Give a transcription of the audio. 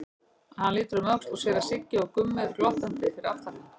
Hann lítur um öxl og sér að Siggi og Gummi eru glottandi fyrir aftan hann.